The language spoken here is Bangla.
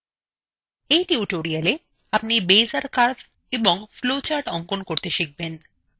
in tutorialএ আপনি beizer কার্ভএবং ফ্লোচার্টsঅঙ্কন করতে শিখবেন